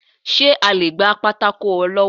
se o le gba pàtàkó olọwọ?